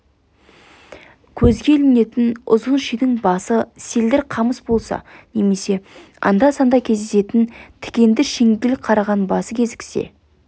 көзге ілінетін ұзын шидің басы селдір қамыс болса немесе анда-санда кездесетін тікенді шеңгел қараған басы кезіксе